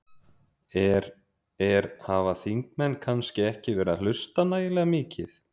Er, er, hafa þingmenn kannski ekki verið að hlusta nægilega mikið?